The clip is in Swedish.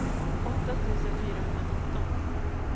åtta tusen fyrahundranitton